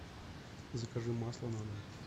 закажи масло на дом